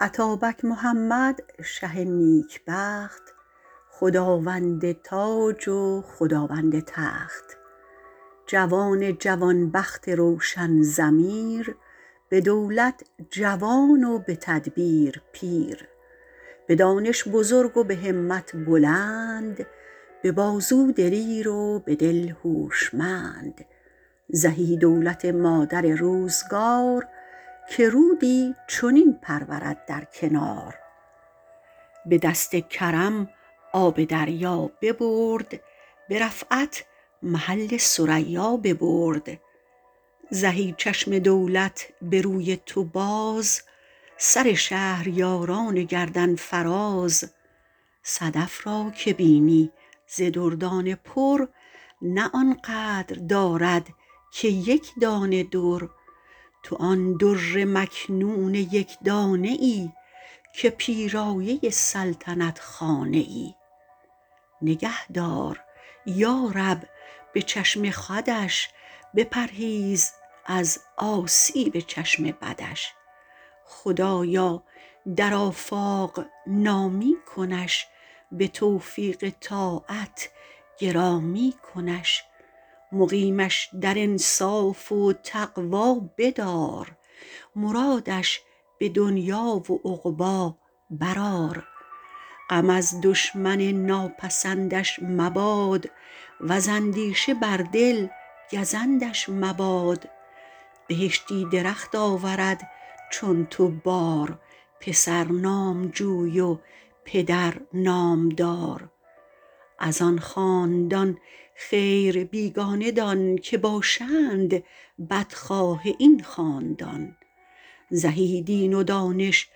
اتابک محمد شه نیکبخت خداوند تاج و خداوند تخت جوان جوان بخت روشن ضمیر به دولت جوان و به تدبیر پیر به دانش بزرگ و به همت بلند به بازو دلیر و به دل هوشمند زهی دولت مادر روزگار که رودی چنین پرورد در کنار به دست کرم آب دریا ببرد به رفعت محل ثریا ببرد زهی چشم دولت به روی تو باز سر شهریاران گردن فراز صدف را که بینی ز دردانه پر نه آن قدر دارد که یکدانه در تو آن در مکنون یکدانه ای که پیرایه سلطنت خانه ای نگه دار یارب به چشم خودش بپرهیز از آسیب چشم بدش خدایا در آفاق نامی کنش به توفیق طاعت گرامی کنش مقیمش در انصاف و تقوی بدار مرادش به دنیا و عقبی برآر غم از دشمن ناپسندش مباد وز اندیشه بر دل گزندش مباد بهشتی درخت آورد چون تو بار پسر نامجوی و پدر نامدار از آن خاندان خیر بیگانه دان که باشند بدخواه این خاندان زهی دین و دانش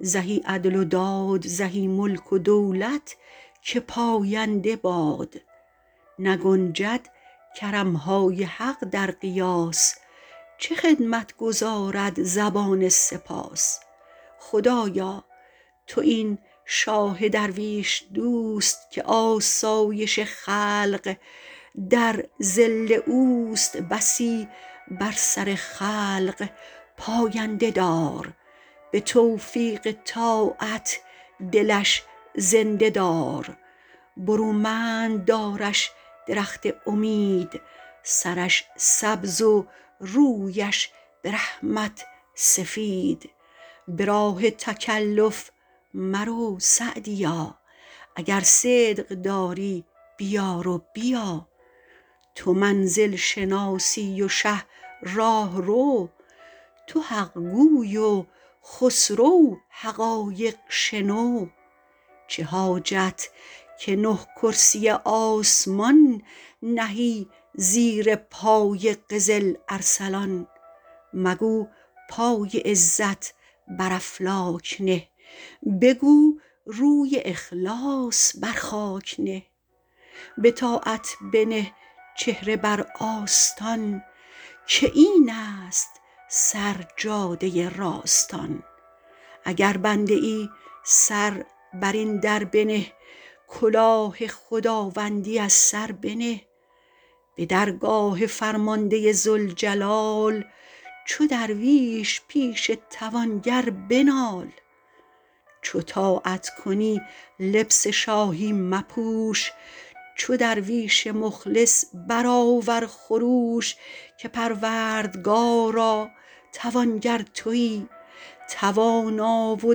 زهی عدل و داد زهی ملک و دولت که پاینده باد نگنجد کرمهای حق در قیاس چه خدمت گزارد زبان سپاس خدایا تو این شاه درویش دوست که آسایش خلق در ظل اوست بسی بر سر خلق پاینده دار به توفیق طاعت دلش زنده دار برومند دارش درخت امید سرش سبز و رویش به رحمت سفید به راه تکلف مرو سعدیا اگر صدق داری بیار و بیا تو منزل شناسی و شه راهرو تو حقگوی و خسرو حقایق شنو چه حاجت که نه کرسی آسمان نهی زیر پای قزل ارسلان مگو پای عزت بر افلاک نه بگو روی اخلاص بر خاک نه بطاعت بنه چهره بر آستان که این است سر جاده راستان اگر بنده ای سر بر این در بنه کلاه خداوندی از سر بنه به درگاه فرمانده ذوالجلال چو درویش پیش توانگر بنال چو طاعت کنی لبس شاهی مپوش چو درویش مخلص برآور خروش که پروردگارا توانگر تویی توانا و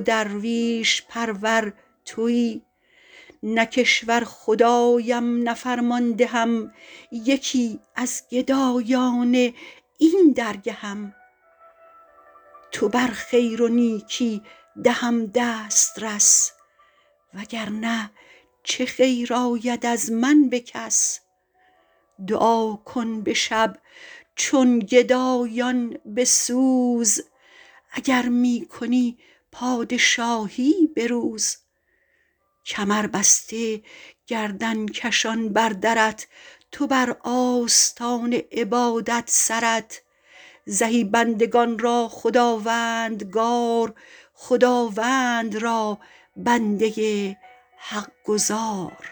درویش پرور تویی نه کشور خدایم نه فرماندهم یکی از گدایان این درگهم تو بر خیر و نیکی دهم دسترس وگر نه چه خیر آید از من به کس دعا کن به شب چون گدایان به سوز اگر می کنی پادشاهی به روز کمر بسته گردن کشان بر درت تو بر آستان عبادت سرت زهی بندگان را خداوندگار خداوند را بنده حق گزار